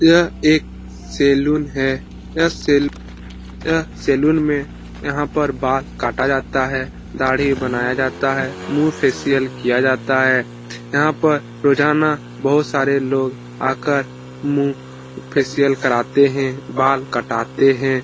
यह एक सैलून है। यह सैलून यह सैलून में यहाँ पर बाल काटा जाता है दाड़ी बनाया जाता है मुहँ फेसिअल किया जाता है। यहाँ पर रोजाना बहुत सारे लोग आकर मुहँ फेसिअल कराते है बाल कटाते है --